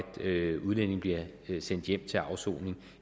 udlændinge bliver sendt hjem til afsoning